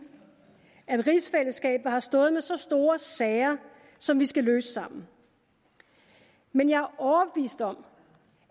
at rigsfællesskabet har stået med så store sager som vi skal løse sammen men jeg er overbevist om